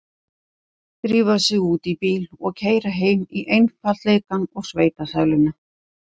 Drífa sig út í bíl og keyra heim í einfaldleikann og sveitasæluna.